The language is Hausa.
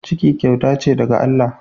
Ciki kyauta ce daga Allah.